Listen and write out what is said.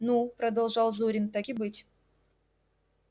ну продолжал зурин так и быть